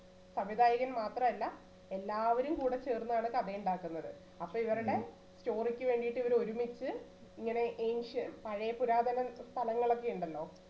അവര് മാത്രം അല്ല എല്ലാവരും കൂടി ചേർന്നാണ് കഥ ഉണ്ടാക്കുന്നത്. അപ്പോൾ ഇവരുടെ ചോരയ്ക്ക് വേണ്ടിയിട്ട് ഇവർ ഒരുമിച്ച് ഇങ്ങനെ ഏഷ്യ പഴയ പുരാതന സ്ഥലങ്ങളൊക്കെ ഉണ്ടല്ലോ.